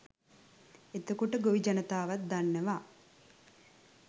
එතකොට ගොවි ජනතාවත් දන්නවා